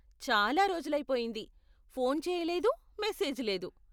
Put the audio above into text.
చాలా రోజులైపోయింది, ఫోన్ చేయలేదు, మెసేజ్ లేదు.